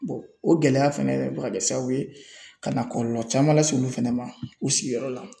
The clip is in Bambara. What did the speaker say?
o gɛlɛya fɛnɛ bɛ ka kɛ sababu ye ka na kɔlɔlɔ caman lase olu fana ma u sigiyɔrɔ la